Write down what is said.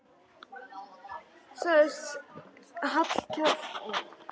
Sagðist Hallkell hafa tekið boðinu með þökkum.